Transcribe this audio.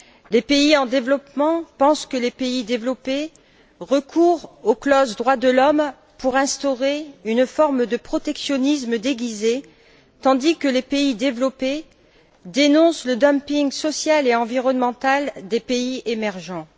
Les pays en développement pensent que les pays développés recourent aux clauses relatives aux droits de l'homme pour instaurer une forme de protectionnisme déguisé tandis que les pays développés dénoncent le dumping social et environnemental des pays émergents.